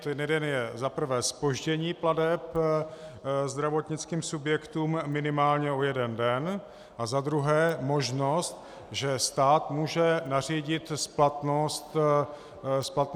Ten jeden je za prvé zpoždění plateb zdravotnickým subjektům minimálně o jeden den a za druhé možnost, že stát může nařídit splatnost faktur.